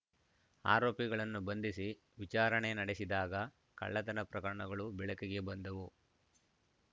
ಆರೋಪಿಗಳನ್ನು ಬಂಧಿಸಿ ವಿಚಾರಣೆ ನಡೆಸಿದಾಗ ಕಳ್ಳತನ ಪ್ರಕರಣಗಳು ಬೆಳಕಿಗೆ ಬಂದವು